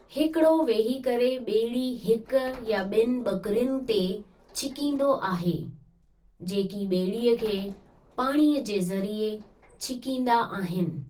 हिकिड़ो वेही करे ॿेड़ी हिक या ॿिनि ॿकिरियुनि ते छिकींदो आहे, जेकी ॿेड़ीअ खे पाणीअ जे ज़रिए छिकीन्दा आहिनि।